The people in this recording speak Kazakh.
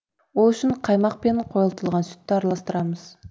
ол үшін қаймақ пен қойытылған сүтті араластырамыз